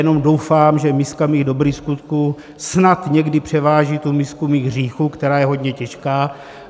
Jenom doufám, že miska mých dobrých skutků snad někdy převáží tu misku mých hříchů, která je hodně těžká.